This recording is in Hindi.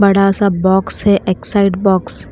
बड़ा सा बॉक्स है एक्स साइड बॉक्स ।